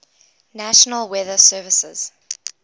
national weather service